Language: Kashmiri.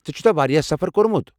ژےٚ چھُتھا واریاہ سفر کوٚرمُت؟